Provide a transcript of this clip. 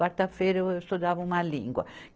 Quarta-feira eu estudava uma língua.